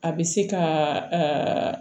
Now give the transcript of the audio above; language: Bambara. A bɛ se ka